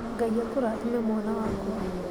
Ngai akũrathime mwana wakwa